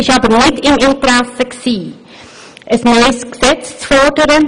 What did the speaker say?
Dies jedoch nicht im Interesse, ein neues Gesetz zu fordern.